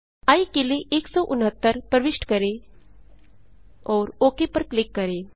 आई के लिए 169 प्रविष्ट करें और ओक पर क्लिक करें